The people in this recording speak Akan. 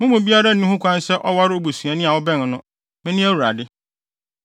“ ‘Mo mu biara nni ho kwan sɛ ɔware obusuani a ɔbɛn no. Mene Awurade.